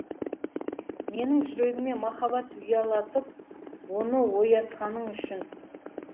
менің жүрегіме махаббат ұялатып оныоятқаның үшін